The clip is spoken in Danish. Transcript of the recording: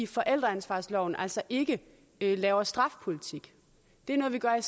forældreansvarsloven altså ikke laver strafpolitik det er noget vi gør i